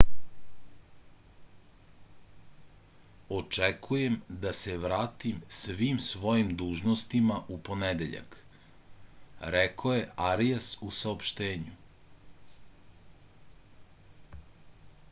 očekujem da se vratim svim svojim dužnostima u ponedeljak rekao je arijas u saopštenju